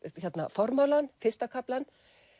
formálann fyrsta kaflann